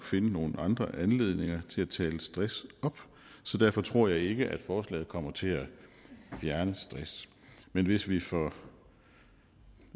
finde nogle andre anledninger til at tale stress op så derfor tror jeg ikke forslaget kommer til at fjerne stress men hvis vi for